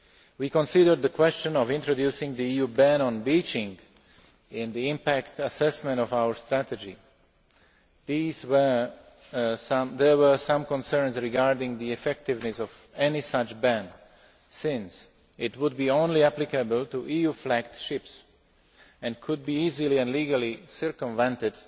We considered the question of introducing an EU ban on beaching in the impact assessment of our strategy. There were some concerns regarding the effectiveness of any such ban since it would be only applicable to EU flagged ships and could be easily and legally circumvented